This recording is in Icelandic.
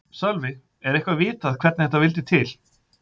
Sölvi: Er eitthvað vitað hvernig þetta vildi til?